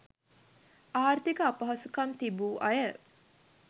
ආර්ථික අපහසුකම් තිබූ අය